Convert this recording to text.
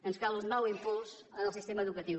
ens cal un nou impuls en el sistema educatiu